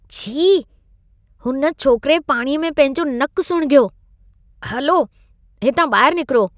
छी! हुन छोकिरे पाणीअ में पंहिंजो नकु सुणिघियो। हलो, हितां ॿाहिरु निकिरो।